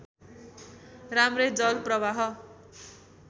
राम्रै जल प्रवाह